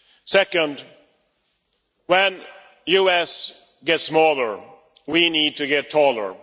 Second, when the EU gets smaller, we need to get taller